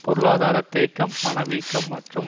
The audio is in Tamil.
பொருளாதார தேக்கம் பணவீக்கம் மற்றும்